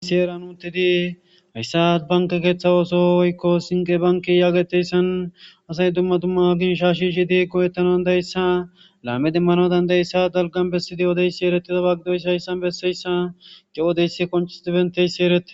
Hasi eran utidi hayssa banke keeththa ooso woykko sinqe banki yaageteyssan asay dumma dumma ginsha shishi di go7ettanondayssa laame demmano dandayssa dalgan bessidi odeysi erettida baagidoysi hayssan besseyssa gewodeysi konchis dibenteyssi erete.